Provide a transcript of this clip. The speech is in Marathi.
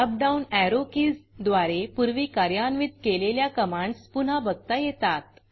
अप डाऊन arrowएरो कीज द्वारे पूर्वी कार्यान्वित केलेल्या कमांडस पुन्हा बघता येतात